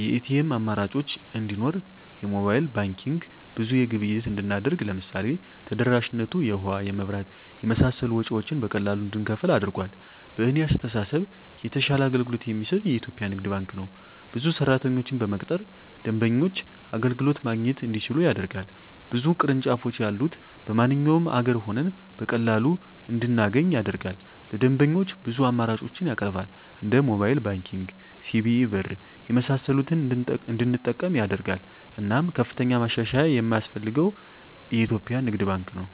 የኤቲኤም አማራጮች እንዲኖር የሞባይል ባንኪንግ ብዙ ግብይት እንድናደርግ ለምሳሌ ተደራሽነቱ የውሀ, የመብራት የመሳሰሉ ወጭወችን በቀላሉ እንድንከፍል አድርጓል። በእኔ አስተሳሰብ የተሻለ አገልግሎት የሚሰጥ የኢትዪጵያ ንግድ ባንክ ነው። ብዙ ሰራተኞችን በመቅጠር ደንበኞች አገልግሎት ማግኘት እንዲችሉ ያደርጋል። ብዙ ቅርንጫፎች ያሉት በማንኛውም አገር ሆነን በቀላሉ እንድናገኝ ያደርጋል። ለደንበኞች ብዙ አማራጮችን ያቀርባል እንደ ሞባይል ባንኪንግ, ሲቢኢ ብር , የመሳሰሉትን እንድንጠቀም ያደርጋል። እናም ከፍተኛ ማሻሻያ የማስፈልገው የኢትዮጵያ ንግድ ባንክ ነው።